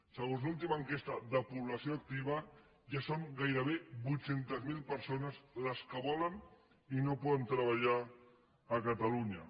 segons l’última enquesta de població activa ja són gairebé vuit centes mil persones les que volen i no poden treballar a catalunya